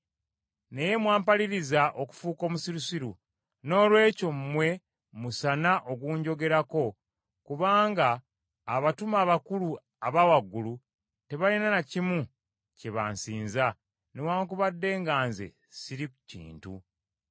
Naye mwampaliriza okufuuka omusirusiru. Noolwekyo mmwe musaana okunjogerako kubanga abatume abakulu abawagulu tebalina na kimu kye bansinza, newaakubadde nga nze siri kintu.